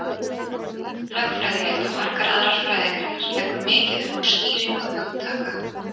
Lögfræði, líkt og margar aðrar fræðigreinar, leggur mikið upp úr skýringu hugtaka.